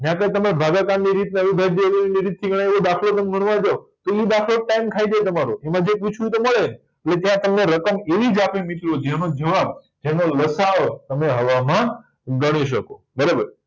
ન્યા તો તમે ભાગાકારની રીત રીતથી તમે દાખલો ગણવા જાવ તો ઇ પાછો ટાઇમ ખાય જાય તમારો ઈમાં જે પૂછ્યું એતો મળે નય એ ત્યાં તમને રકમ એવીજ આપે મિત્રો જેનો જવાબ લસાઅ તમે હવામાં ગણી શકો બરાબર